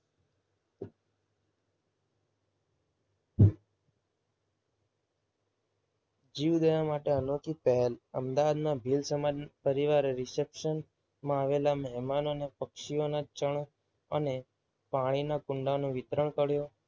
જીવદયા માટે અનોખી પહેલ. અમદાવાદના ભીલ સમાજ પરિવારે reception માં આવેલા મહેમાનોએ પક્ષીઓના ચણ અને પાણીના કુંડાનું વિતરણ કર્યું.